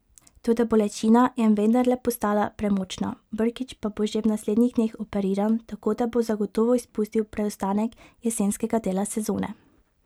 Toda bolečina je vendarle postala premočna, Brkić pa bo že v naslednjih dneh operiran, tako da bo zagotovo izpustil preostanek jesenskega dela sezone.